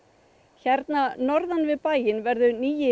hérna norðan við bæinn verður nýi